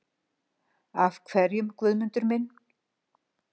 Af hverjum, Guðmundur minn?